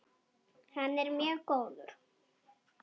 Hann er mjög góður.